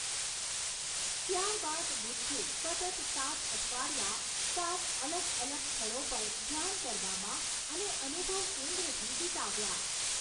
ત્યારબાદ બુદ્ધે સતત સાત અઠવાડિયાં સાત અલગ અલગ સ્થળો પર ધ્યાન કરવામાં અને અનુભવ કેન્દ્રથી વિતાવ્યાં.